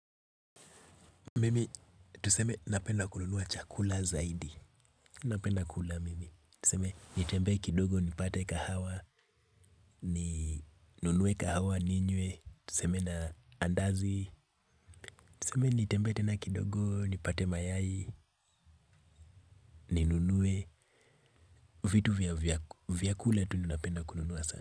Mimi, tuseme napenda kununua chakula zaidi. Napenda kula, mimi. Tuseme nitembee kidogo, nipate kahawa, ninue kahawa, ninywe. Tuseme na andazi. Tuseme nitembee tena kidogo, nipate mayai, ninue. Vitu vya vya kule tu napenda kununua sana.